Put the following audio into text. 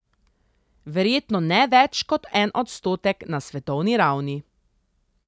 Verjetno ne več kot en odstotek na svetovni ravni.